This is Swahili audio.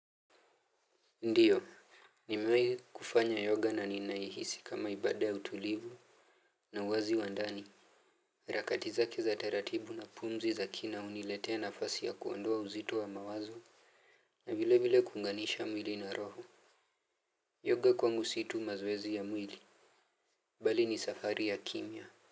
Ndiyo. Nimewai kufanya yoga na ninaihisi kama ibada ya utulivu na uwazi wa ndani rakati zake za taratibu na pumzi za kina unilete nafasi ya kuondoa uzito wa mawazo. Na vile vile kuunganisha mwili na roho Yoga kwangu situ mazoezi ya mwili. Bali ni safari ya kimya.